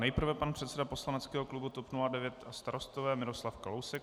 Nejprve pan předseda poslaneckého klubu TOP 09 a Starostové Miroslav Kalousek.